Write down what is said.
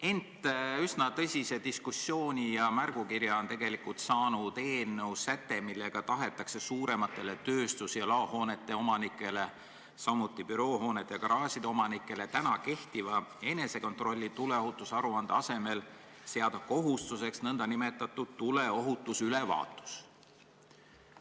Ent üsna tõsise diskussiooni ja märgukirja osaliseks on saanud eelnõu säte, millega tahetakse suuremate tööstus- ja laohoonete omanikele, samuti büroohoonete ja garaažide omanikele praegu kehtiva enesekontrolli tuleohutusaruande asemel seada kohustuseks nn tuleohutusülevaatus.